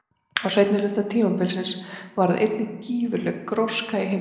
Á seinni hluta tímabilsins varð einnig gífurleg gróska í heimspeki.